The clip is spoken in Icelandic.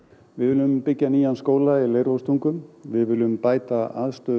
við viljum byggja nýjan skóla í við viljum bæta aðstöðu